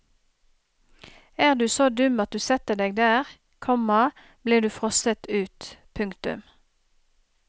Er du så dum at du setter deg der, komma blir du frosset ut. punktum